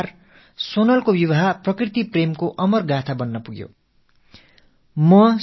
ஒரு வகையில் சோனலின் திருமணம் இயற்கை மீதான நேசத்தின் அமரகாதையாக ஆகியிருக்கிறது